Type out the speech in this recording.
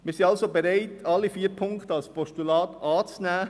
Wir sind also bereit, alle vier Punkte als Postulat anzunehmen.